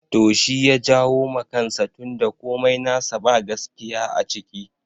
To shi ya jawo ma kansa tun da komai nasa ba gaskiya a ciki